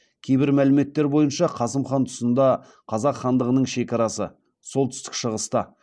кейбір мәліметтер бойынша қасым хан тұсында қазақ хандығының шекарасы солтүстік шығыста